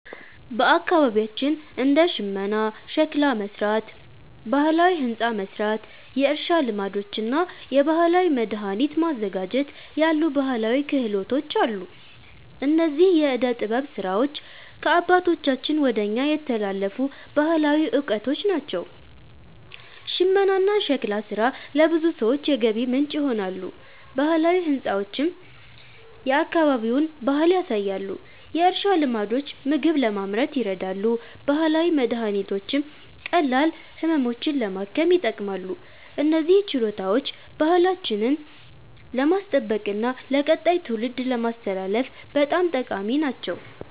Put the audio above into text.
በአካባቢያችን እንደ ሽመና፣ ሸክላ መሥራት፣ ባህላዊ ሕንፃ መሥራት፣ የእርሻ ልማዶች እና የባህላዊ መድኃኒት ማዘጋጀት ያሉ ባህላዊ ክህሎቶች አሉ። እነዚህ የዕደ ጥበብ ሥራዎች ከአባቶቻችን ወደ እኛ የተላለፉ ባህላዊ እውቀቶች ናቸው። ሽመናና ሸክላ ሥራ ለብዙ ሰዎች የገቢ ምንጭ ይሆናሉ፣ ባህላዊ ሕንፃዎችም የአካባቢውን ባህል ያሳያሉ። የእርሻ ልማዶች ምግብ ለማምረት ይረዳሉ፣ ባህላዊ መድኃኒቶችም ቀላል ህመሞችን ለማከም ይጠቅማሉ። እነዚህ ችሎታዎች ባህላችንን ለማስጠበቅና ለቀጣይ ትውልድ ለማስተላለፍ በጣም ጠቃሚ ናቸው።